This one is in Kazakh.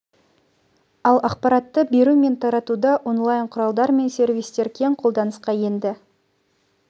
ал ақпаратты беру мен таратуда онлайн құралдар мен сервистер кең қолданысқа енді